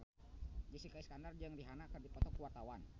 Jessica Iskandar jeung Rihanna keur dipoto ku wartawan